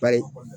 Bari